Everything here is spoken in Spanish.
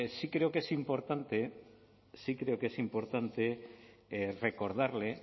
sí creo que es importante sí creo que es importante recordarle